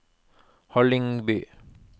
Hallingby